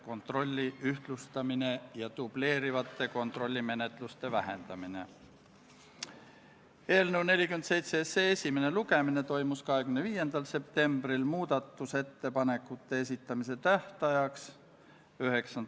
Käesoleva aasta 5. novembril toimus riigikaitse- ja väliskomisjoni ühine väljasõiduistung Kaitseväe peastaapi, kus Kaitseväe esindajad andsid ülevaate missioonide piirkondades toimuvast.